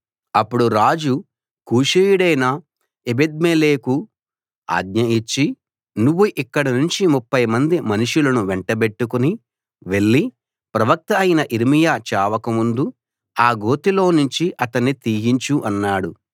అప్పుడు రాజు కూషీయుడైన ఎబెద్మెలెకుకు ఆజ్ఞ ఇచ్చి నువ్వు ఇక్కడనుంచి 30 మంది మనుషులను వెంటబెట్టుకుని వెళ్లి ప్రవక్త అయిన యిర్మీయా చావకముందు ఆ గోతిలోనుంచి అతన్ని తీయించు అన్నాడు